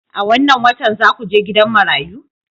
A wannan watan za ku je gidan marayu?